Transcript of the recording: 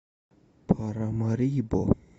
парамарибо